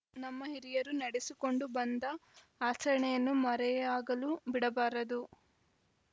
ನಮ್ಮ ಹಿರಿಯರು ನಡೆಸಿಕೊಂಡು ಬಂದ ಆಚರಣೆಯನ್ನು ಮರೆಯಾಗಲು ಬಿಡಬಾರದು